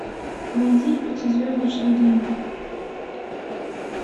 найди пятизвездочный день